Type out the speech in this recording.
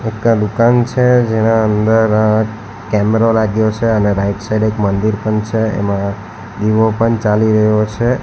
દુકાન છે જેના અંદર કેમેરો લાગ્યો છે અને રાઈટ સાઈડ એક મંદિર પણ છે એમાં દીવો પણ ચાલી રહ્યો છે.